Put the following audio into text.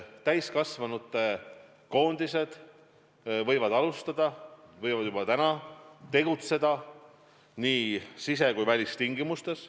Täiskasvanute koondised võivad alustada, võivad juba täna tegutseda nii sise- kui välistingimustes.